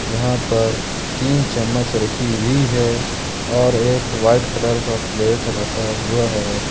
यहां पर तीन चम्मच रखी हुई है और एक व्हाइट कलर का प्लेट रखा हुआ है।